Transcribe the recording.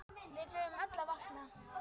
Við þurfum öll að vakna!